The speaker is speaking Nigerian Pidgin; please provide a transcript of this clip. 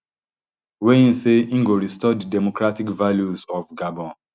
wey im say im go restore di democratic values of gabon